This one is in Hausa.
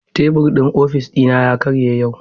Tebur ofis dina ya karye yau.